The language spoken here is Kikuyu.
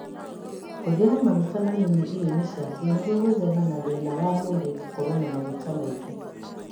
Hũthĩra maguta manini irio-inĩ ciaku nĩguo gwĩthema na thĩna wa mwĩrĩ gũkorwo na maguta maingĩ